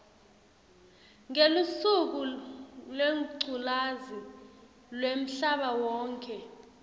ngelusuku lwengculazi lwemhlabawonkhe